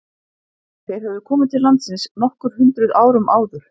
Þeir höfðu komið til landsins nokkur hundruð árum áður.